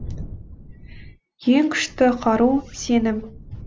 ең күшті қару сенім